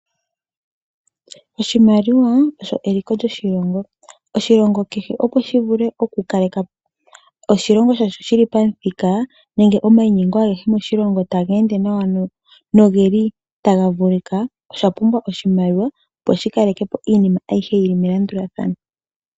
Oshimaliwa osho eliko lyoshilongo. Oshilongo kehe opo shi vule okukale ka po oshilongo shasho shi li pamuthika nenge omayinyengo agehe moshilongo taga ende nawa noge li taga vulika osha pumbwa oshimaliwa, opo shi kaleke po iinima ayihe yi li melandulathano.